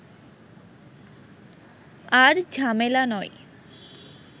আর ঝামেলা নয়